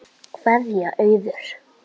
Kveðja, Auður.